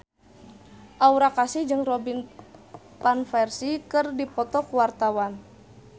Aura Kasih jeung Robin Van Persie keur dipoto ku wartawan